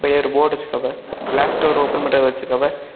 இங்க ஒரு போர்டு வச்சிருக்காவெ கிளாஸ் டோர் ஓபன் பண்றது வச்சிருக்காவெ.